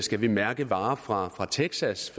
skal vi mærke varer fra texas